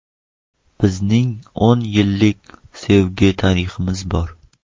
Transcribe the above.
Bizning o‘n yillik sevgi tariximiz bor.